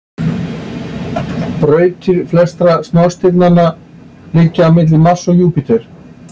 Brautir flestra smástirnanna liggja milli Mars og Júpíters.